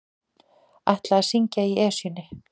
Ætla að syngja í Esjunni